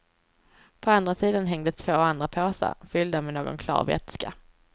På andra sidan hängde två andra påsar, fyllda med någon klar vätska.